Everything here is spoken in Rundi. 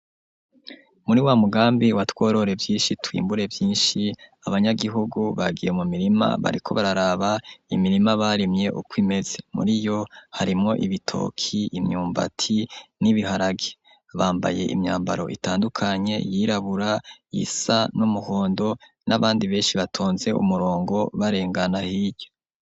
Muri wa mugambi wa tworore vyinshi twimbure vyinshi abanyagihugu bagiye mu mirima bariko bararaba imirima barimye uko imeze .Muri yo harimo ibitoki imyumbati n'ibiharage, bambaye imyambaro itandukanye yirabura iyisa n'umuhondo n'abandi benshi batonze umurongo barengana hirya.